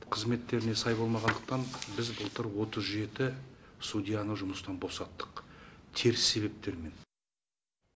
қызметтеріне сай болмағандықтан біз былтыр отыз жеті судьяны жұмыстан босаттық теріс себептермен